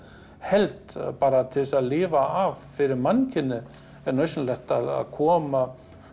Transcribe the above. held að bara til þess að lifa af fyrir mannkynið er nauðsynlegt að koma